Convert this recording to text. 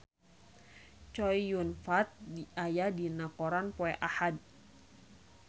Chow Yun Fat aya dina koran poe Ahad